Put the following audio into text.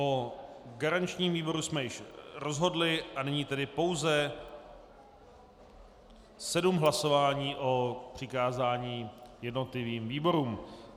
O garančním výboru jsme již rozhodli a nyní tedy pouze sedm hlasování o přikázání jednotlivým výborům.